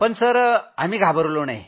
पण सर आम्ही घाबरलो नाही